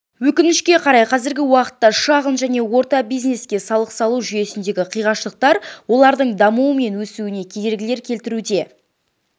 өкінішке қарай қазіргі уақытта шағын және орта бизнеске салық салу жүйесіндегі қиғаштықтар олардың дамуы мен өсуіне кедергі келтіруде